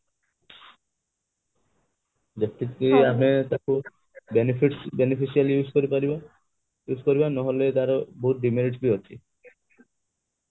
ଯେତିକି ଆମେ ତାକୁ benefits beneficially use କରିପାରିବା ନହେଲେ ତାର ବହୁତ demerits ବି ଅଛି